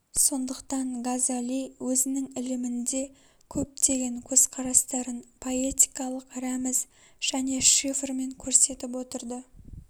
сондықтан газели өзінің ілімінде көптеген көзқарастарын поэтикалық рәміз және шифрмен көрсетіп отырды